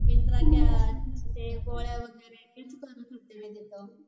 ते गोळ्या वगैरे, तेच करत होते मी तिथं